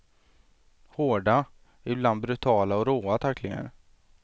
Hårda, ibland brutala och råa tacklingar.